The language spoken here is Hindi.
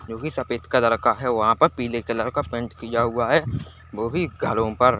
जो की सफेद कलर का है वहाँ पर पीले कलर का पेंट किया हुआ है वो भी घरों पर--